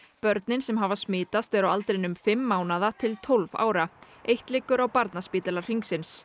börnin sem hafa smitast eru á aldrinum fimm mánaða til tólf ára eitt liggur á Barnaspítala Hringsins